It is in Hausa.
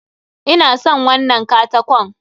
Ina son wannan katakon.